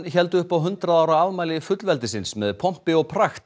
héldu upp á hundrað ára afmæli fullveldis með pompi og